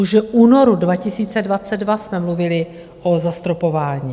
Už v únoru 2022 jsme mluvili o zastropování.